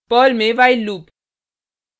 Perl में while loop